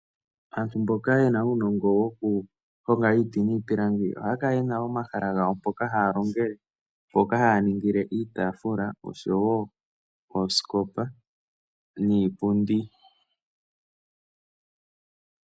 Aantu mboka ye na uunongo woku honga iiti niipilangi, ohaa kala ye na omahala gawo mpoka haa longele, mpoka haa ningile iitaafula, osho wo oosikopa niipundi.